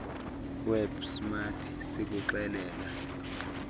web smart sikuxelela